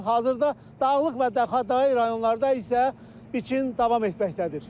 Hazırda Dağlıq və Dağlıqətəyi rayonlarda isə biçin davam etməkdədir.